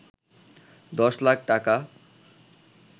১০ লাখ টাকা